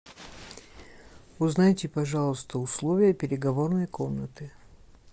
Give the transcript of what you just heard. узнайте пожалуйста условия переговорной комнаты